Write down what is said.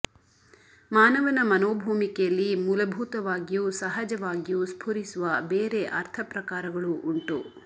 ಮಾನವನ ಮನೋಭೂಮಿಕೆಯಲ್ಲಿ ಮೂಲಭೂತವಾಗಿಯೂ ಸಹಜವಾಗಿಯೂ ಸ್ಫುರಿಸುವ ಬೇರೆ ಅರ್ಥ ಪ್ರಕಾರಗಳೂ ಉಂಟು